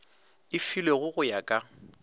e filwego go ya ka